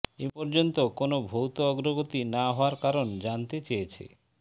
এ পর্যন্ত কোনো ভৌত অগ্রগতি না হওয়ার কারণ জানতে চেয়েছে